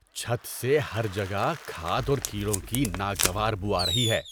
چھت سے ہر جگہ کھاد اور کیڑوں کی ناگوار بو آ رہی ہے۔